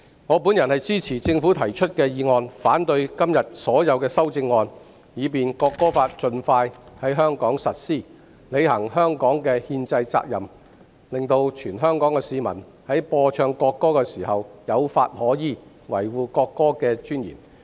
我支持政府提出的《條例草案》，反對今天所有修正案，以便《國歌法》盡快在香港實施，履行香港的憲制責任，令全香港市民在播唱國歌時有法可依，維護國歌的尊嚴。